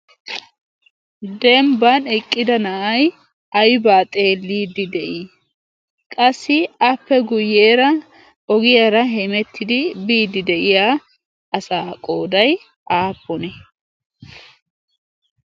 Dembban eqqida na'ay aybba xeelide de'i? qassi appe guyyeera ogiyaara biide de'iyaa asa qooday aappunne?